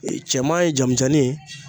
Ee cɛman ye jamujanni ye